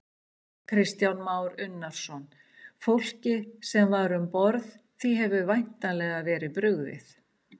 Kristján Már Unnarsson: Fólkið sem var um borð, því hefur væntanlega verið brugðið?